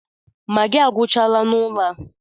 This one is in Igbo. Magịị agwuchala n'ụlọ a.